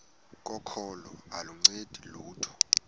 kokholo aluncedi lutho